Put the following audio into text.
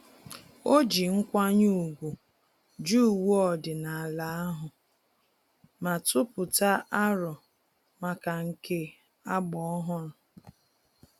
Ọ ji nkwanye ùgwù jụ uwe ọdịnala ahụ, ma tụpụta arọ maka nke agba ọhụrụ